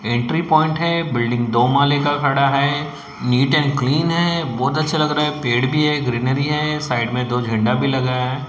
Entry point है building दो माले का खड़ा है नीट एंड क्लीन है बहोत अच्छा लग रहा है पेड़ भी है ग्रीनरी है साइड में दो झंडा भी लगा है।